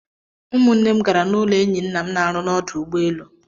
Umụnne m gara n'ụlọ enyi nna m na-arụ n'ọdụ ụgbọelu.